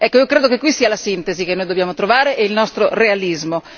Ecco, io credo che qui stia la sintesi che noi dobbiamo trovare è il nostro realismo.